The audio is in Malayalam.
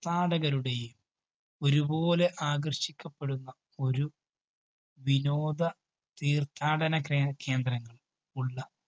ഥാടകരുടെയും ഒരുപോലെ ആകര്‍ഷിക്കപ്പെടുന്ന ഒരു വിനോദ തീര്‍ഥാടന കേ~കേന്ദ്രങ്ങള്‍ ഉള്ള